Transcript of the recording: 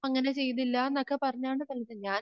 അങ്ങനെ ചെയ്തില്ലന്നൊക്കെ പറഞ്ഞാണ് തല്ലിയത് ഞാൻ